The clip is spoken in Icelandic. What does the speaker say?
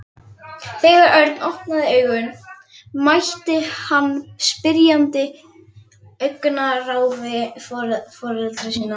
Þegar Örn opnaði augun mætti hann spyrjandi augnaráði foreldra sinna.